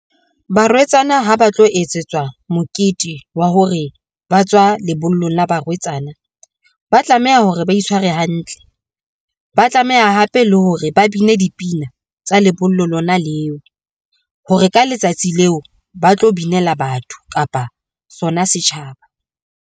Barwetsana ha ba tlo etsetswa mokete wa hore ba tswa lebollong la barwetsana, ba tlameha hore ba itshware hantle. Ba tlameha hape le hore ba bine dipina tsa lebollo lona leo, hore ka letsatsi leo ba tlo binela batho kapa sona setjhaba.